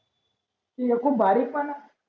तू एकूण भारीच झाला